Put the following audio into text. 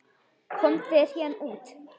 Komdu þér héðan út.